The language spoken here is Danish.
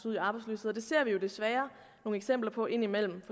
ud i arbejdsløshed og det ser vi desværre nogle eksempler på indimellem